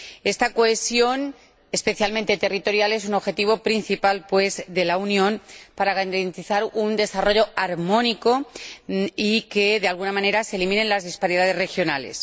Esta cohesión, especialmente territorial, es un objetivo principal, pues, de la Unión para garantizar un desarrollo armónico y que, de alguna manera, se eliminen las disparidades regionales.